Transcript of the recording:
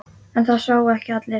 En það sváfu ekki allir.